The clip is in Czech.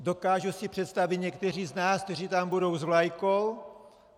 Dokážu si představit některé z nás, kteří tam budou s vlajkou.